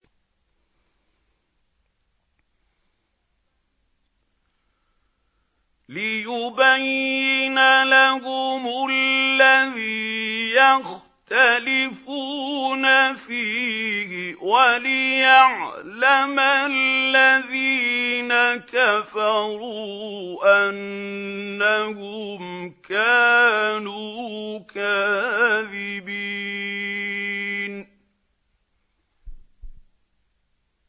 لِيُبَيِّنَ لَهُمُ الَّذِي يَخْتَلِفُونَ فِيهِ وَلِيَعْلَمَ الَّذِينَ كَفَرُوا أَنَّهُمْ كَانُوا كَاذِبِينَ